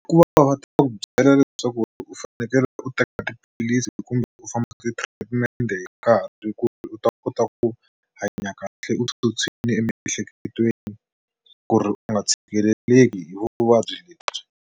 Ku va va ta ku byela leswaku u fanekele u teka tiphilisi kumbe u famba ti-treatment hi nkarhi ku u ta kota ku hanya kahle u tshutshwile emiehleketweni ku ri u nga tshikeleleki hi vuvabyi lebyi.